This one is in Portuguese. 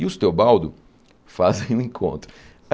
E os Teobaldo fazem o encontro.